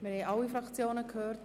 Wir haben alle Fraktionen gehört.